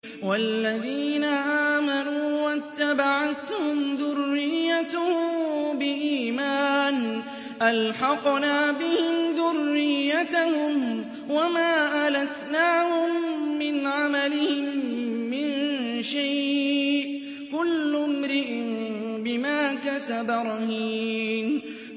وَالَّذِينَ آمَنُوا وَاتَّبَعَتْهُمْ ذُرِّيَّتُهُم بِإِيمَانٍ أَلْحَقْنَا بِهِمْ ذُرِّيَّتَهُمْ وَمَا أَلَتْنَاهُم مِّنْ عَمَلِهِم مِّن شَيْءٍ ۚ كُلُّ امْرِئٍ بِمَا كَسَبَ رَهِينٌ